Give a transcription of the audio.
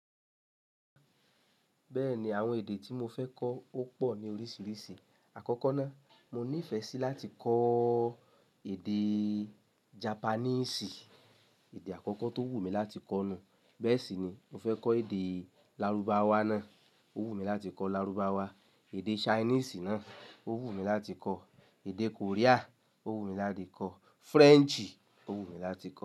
Bẹ́ẹ̀ni, àwọn èdè tí mo fẹ́ kọ ó pọ̀ ní oríṣiríṣi. Àkọ́kọ́ náà, mo ní ìfẹ́ sí láti kọ́ èdè Japaníìsì. Èdè àkọ́kọ́ tó wù mí láti kọ́ náà. Bẹ́ẹ̀ sì ni mo fẹ́ kọ́ èdè lárúbáwá náà, ó wù mí láti kọ́ lárúbáwá. Èdè Ṣainíìsì náà ó wù mí láti kọ́, èdè Korea ó wù mí láti kọ́, French ó wù mí láti kọ́.